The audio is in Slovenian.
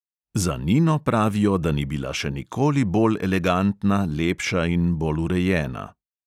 Za nino pravijo, da ni bila še nikoli bolj elegantna, lepša in bolj urejena.